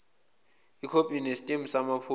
ikhophi enesitembu samaphoyisa